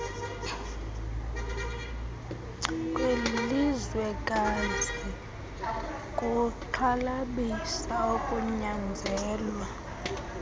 kwelizwekazi kuxhalabisa ukunyanzelwa